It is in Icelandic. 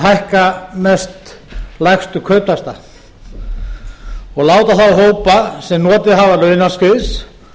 hækka mest lægstu kauptaxtana og láta þá hópa sem notið hafa launaskriðs